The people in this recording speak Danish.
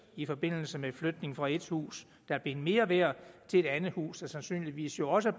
i forbindelse med flytning fra et hus der er blevet mere værd til et andet hus der sandsynligvis jo også